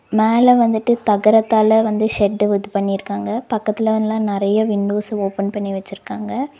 மேல வந்துட்டு தகரத்தால வந்து ஷெட்டு இது பண்ணிருக்காங்க பக்கத்துல எல்லா நெறைய விண்டோஸ் ஓபன் பண்ணி வெச்சிருக்காங்க.